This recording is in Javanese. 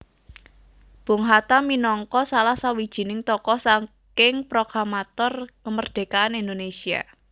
Bung Hatta minangka salah sawijining tokoh saking prokamator kemerdekaan Indonésia